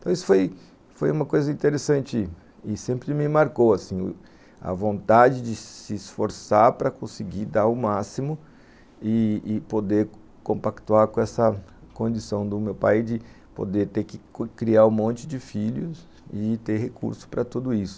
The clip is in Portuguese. Então, isso foi, foi uma coisa interessante e sempre me marcou assim, a vontade de se esforçar para conseguir dar o máximo e e poder compactuar com essa condição do meu pai de poder ter que criar um monte de filhos e ter recurso para tudo isso.